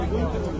Tamam.